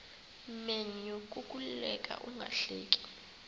menyo kukuleka ungahleki